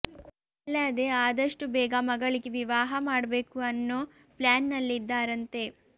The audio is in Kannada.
ಅಲ್ಲದೇ ಆದಷ್ಟು ಬೇಗ ಮಗಳಿಗೆ ವಿವಾಹ ಮಾಡ್ಬೇಕು ಅನ್ನೋ ಪ್ಲಾನ್ ನಲ್ಲಿದ್ದಾರಂತೆ